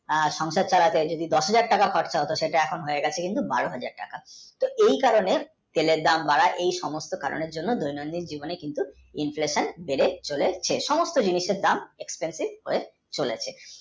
যদি সংসার চালাতে দশ হাজার টাকা খরচ হোত সেটা হয়ে গেছে বারো হাজার টাকা এই কারণে তেলের দাম বাড়ায় এই সমস্ত কারণে ধীরে ধীরে inflation বেড়ে চলেছে সমস্ত জিনিসের দাম expensive হয়ে চলেছে।